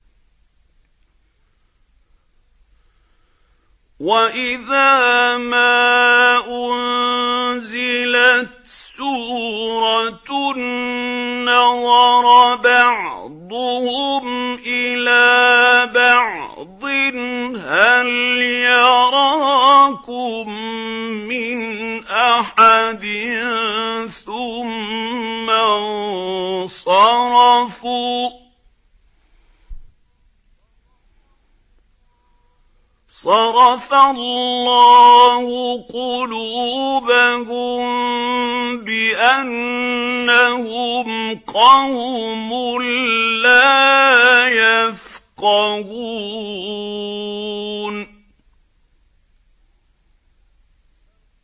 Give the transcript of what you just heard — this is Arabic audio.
وَإِذَا مَا أُنزِلَتْ سُورَةٌ نَّظَرَ بَعْضُهُمْ إِلَىٰ بَعْضٍ هَلْ يَرَاكُم مِّنْ أَحَدٍ ثُمَّ انصَرَفُوا ۚ صَرَفَ اللَّهُ قُلُوبَهُم بِأَنَّهُمْ قَوْمٌ لَّا يَفْقَهُونَ